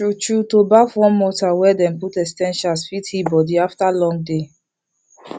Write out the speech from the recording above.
true true to baff warm water wey dem put essentials fit heal body after long day